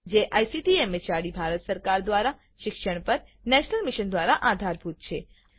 જે ICT MHRD Bharat સરકાર દ્વારા શિક્ષણ પર નેશનલ મિશન દ્વારા આધારભૂત છે